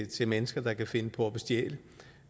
til mennesker der kan finde på